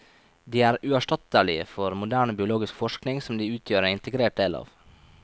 De er uerstattelige for moderne biologisk forskning som de utgjør en integrert del av.